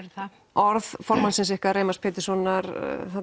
orð formannsins ykkar Reimars Péturssonar